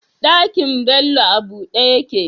Ɗakin Bello a buɗe yake?